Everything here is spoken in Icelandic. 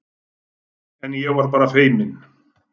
En ég var bara feiminn.